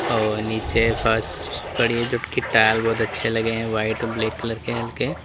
और नीचे फर्श बढ़िया जो कि टाइल बहुत अच्छे लगे हैं व्हाइट और ब्लैक कलर के हल्के।